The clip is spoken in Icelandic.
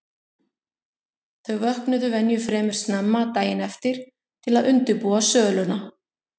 Þau vöknuðu venju fremur snemma daginn eftir til að undirbúa söluna.